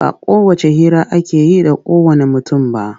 Ba kowacce hira ake yi da kowanne mutum ba.